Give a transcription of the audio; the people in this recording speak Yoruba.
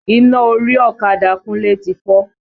Iná orí ọ̀kadà Kúnlé ti fọ́.